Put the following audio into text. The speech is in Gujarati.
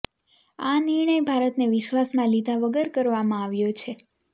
આ નિર્ણય ભારતને વિશ્વાસમાં લીધા વગર કરવામાં આવ્યો છે